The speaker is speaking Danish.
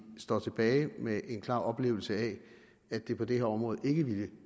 står tilbage med en klar oplevelse af at det på det her område ikke ville